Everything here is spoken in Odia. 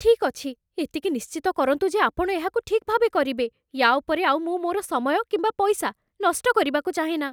ଠିକ୍ ଅଛି, ଏତିକି ନିଶ୍ଚିତ କରନ୍ତୁ ଯେ ଆପଣ ଏହାକୁ ଠିକ୍ ଭାବେ କରିବେ। ୟା' ଉପରେ ଆଉ ମୁଁ ମୋର ସମୟ କିମ୍ବା ପଇସା ନଷ୍ଟ କରିବାକୁ ଚାହେଁନା।